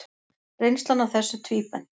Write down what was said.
Reynslan af þessu tvíbent.